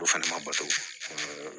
O fana ma bato